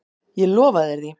Ég lofa þér því.